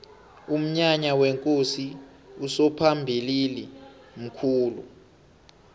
umnyanya wekosi usomphalili mkhulu